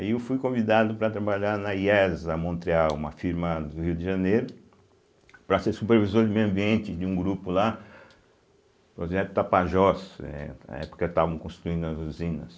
Aí eu fui convidado para trabalhar na iésa Montreal, uma firma do Rio de Janeiro, para ser supervisor de meio ambiente de um grupo lá, o projeto Tapajós, né eh na época estavam construindo as usinas.